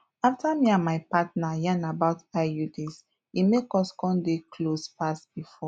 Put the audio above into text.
after me and my partner yarn about iuds e make us come dey close pass before